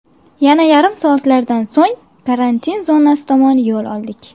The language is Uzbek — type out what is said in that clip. Yana yarim soatlardan so‘ng karantin zonasi tomon yo‘l oldik.